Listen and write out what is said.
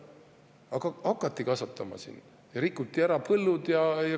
Aga hakati kasvatama siin ja rikuti põllud ära.